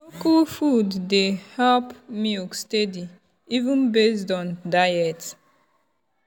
local food dey help milk steady even based on diet.